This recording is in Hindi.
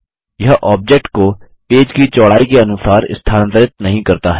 यह ऑब्जेक्ट को पेज की चौड़ाई के अनुसार स्थानांतरित नहीं करता है